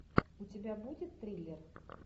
у тебя будет триллер